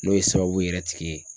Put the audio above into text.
N'o ye sababu yɛrɛ tigi ye.